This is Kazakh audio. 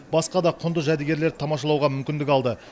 басқа да құнды жәдігерлерді тамашалауға мүмкіндік алды